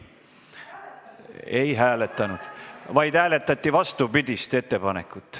Ei hääletatud, hääletati vastupidist ettepanekut.